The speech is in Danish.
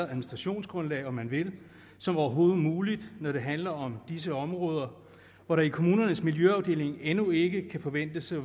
administrationsgrundlag om man vil som overhovedet muligt når det handler om disse områder hvor der i kommunernes miljøafdelinger endnu ikke kan forventes at